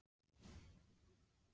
En í hvað má nota forritin?